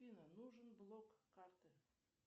афина нужен блок карты